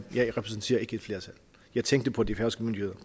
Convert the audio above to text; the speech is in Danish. jeg repræsenterer ikke et flertal jeg tænkte på de færøske myndigheder